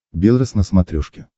белрос на смотрешке